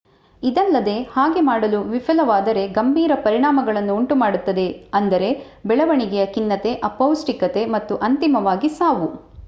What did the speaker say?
ಇದಲ್ಲದೆ ಹಾಗೆ ಮಾಡಲು ವಿಫಲವಾದರೆ ಗಂಭೀರ ಪರಿಣಾಮಗಳನ್ನು ಉಂಟುಮಾಡುತ್ತದೆ ಅಂದರೆ ಬೆಳವಣಿಗೆಯ ಖಿನ್ನತೆ ಅಪೌಷ್ಟಿಕತೆ ಮತ್ತು ಅಂತಿಮವಾಗಿ ಸಾವು